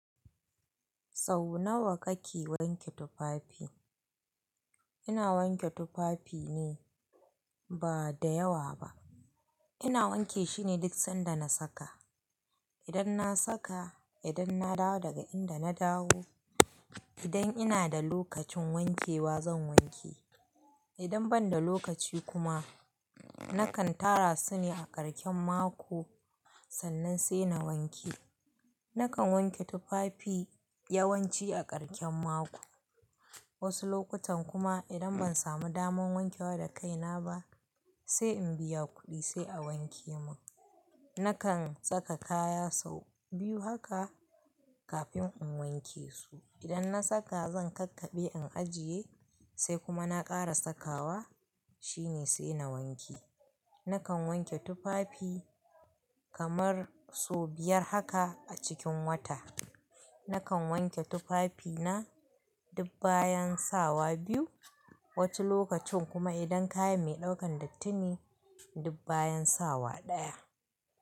Sau nawa kake wanke tufafi? Ina wanke tufafi ne ba da yawa ba. Ina wanke shine duk sanda na saka. Idan na saka, idan na dawo daga inda na dawo, idan ina da lokacin wankewa zan wanke. Idan ban da lokaci kuma, nakan tara su ne a ƙarƙen mako sannan sai na wanke. Nakan wanke tufafi yawanci a ƙarƙen mako. Wasu lokutan kuma idan ban samu damar wankewa da kaina ba, sai in biya kuɗi sai a wanke mun. Nakan saka kaya sau biyu haka kafin in wanke su. Idan na saka zan kakkaɓe in ajiye sai kuma na ƙara sakawa shine sai na wanke. Nakan wanke tufafi kamar sau biyar haka a cikin wata. Nakan wanke tufafi na dub bayan sawa biyu, wata lokacin kuma idan kaya mai ɗaukan dattin ne dub bayan sawa ɗaya.